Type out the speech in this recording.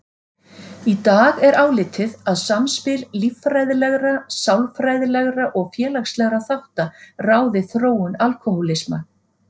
Í dag er álitið að samspil líffræðilegra, sálfræðilegra og félagslegra þátta ráði þróun alkóhólisma.